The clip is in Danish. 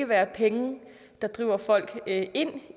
være penge der driver folk ind ind